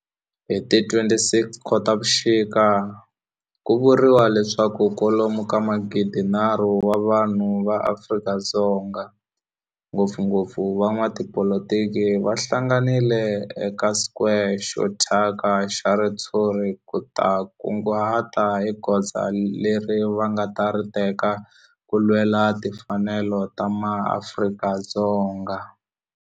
Hi ti 26 Khotavuxika ku vuriwa leswaku kwalomu ka magidi-nharhu wa vanhu va Afrika-Dzonga, ngopfungopfu van'watipolitiki va hlanganile eka square xo thyaka xa ritshuri ku ta kunguhata hi goza leri va nga ta ri teka ku lwela timfanelo ta maAfrika-Dzonga.